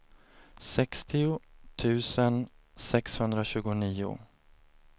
sextio tusen sexhundratjugonio